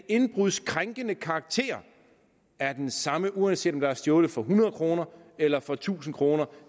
indbruddets krænkende karakter er den samme uanset om der er stjålet for hundrede kroner eller for tusind kroner